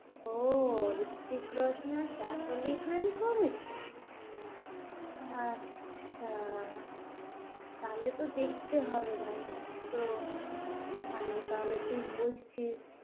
ও রিত্তিক রোশন আর সইফ আলী খান করেছে আচ্ছা তাহলে তো দেখতেই হবে ভাই আর তো ভালোই তাহলে তুই বলছিস, "